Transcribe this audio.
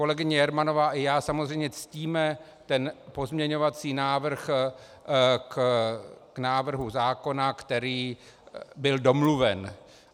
Kolegyně Jermanová i já samozřejmě ctíme ten pozměňovací návrh k návrhu zákona, který byl domluven.